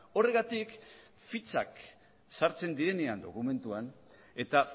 horregatik fitxak sartzen direnean dokumentuan eta